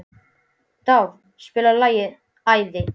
Dáð, spilaðu lagið „Æði“.